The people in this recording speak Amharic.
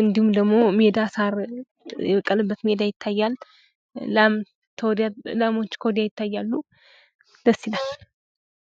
እንዲሁም ደግሞ ሜዳ ሳር የቀለበት ሜዳ ይታያል። ላም ከወዲያ ላሞች ከወዲያ ይታያሉ። ደስ ይላል።